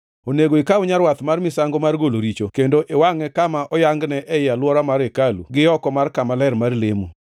Onego ikaw nyarwath mar misango mar golo richo kendo iwangʼe kama oyangne ei alwora mar hekalu gioko mar kama ler mar lemo.